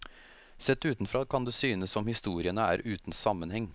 Sett utenfra kan det synes som historiene er uten sammenheng.